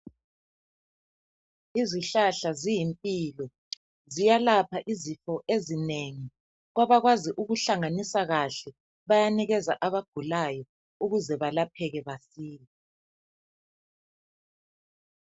Izihlahla ziyimpilo ziyelapha izifo ezinengi. Kwabakwazi ukuhlanganisa kahle bayanikeza abagulayo ukuze balapheke masinya.